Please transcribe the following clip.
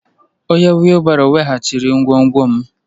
Onye wheelbarrow weghachiri ngwongwo m.